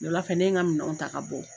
Wulala fɛ ne ye n ka minɛnw ta ka bɔ.